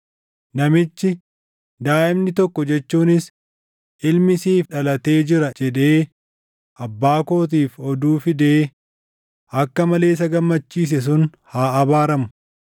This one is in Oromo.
Namichi, “Daaʼimni tokko jechuunis ilmi siif dhalatee jira!” jedhee abbaa kootiif oduu fidee akka malee isa gammachiise sun haa abaaramu!